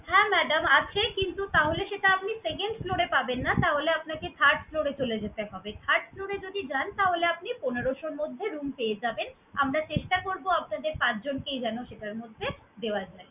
হ্যাঁ madam আছে কিন্তু তাহলে সেটা আপনি second floor এ পাবেন না তাহলে আপনাকে third floor এ চলে যেতে হবে। Third floor এ যদি যান তাহলে আপনি পনেরশো এর মধ্যে room পেয়ে যাবেন। আমরা চেষ্টা করবো আপনাদের পাঁচজনকেই যেন সেটার মধ্যে দেওয়া যায়।